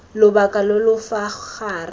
lobaka lo lo fa gare